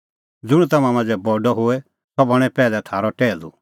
ज़ुंण तम्हां मांझ़ै बडअ होए सह बणें पैहलै थारअ टैहलू